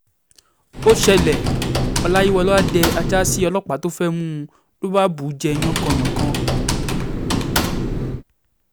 ó ṣẹlẹ̀ ọláyíwọ́lá dé ajá sí ọlọ́pàá tó fẹ́ẹ̀ mú un ló bá bù ú jẹ́ yánkànyànkàn